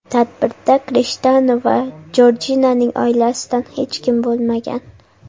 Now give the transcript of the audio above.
Tadbirda Krishtianu va Jorjinaning oilasidan hech kim bo‘lmagan.